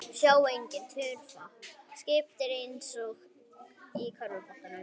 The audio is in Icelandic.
Sjá einnig: Tufa: Skipting eins og í körfuboltanum